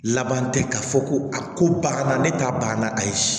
Laban tɛ k'a fɔ ko a ko banna ne ta banna ayi